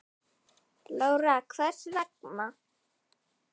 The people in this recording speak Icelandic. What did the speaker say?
Lára: Hvers vegna?